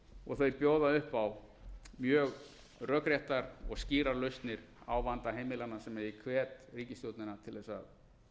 og þær bjóða upp á mjög rökréttar og skýrar lausnir á vanda heimilanna sem ég hvet ríkisstjórnina til að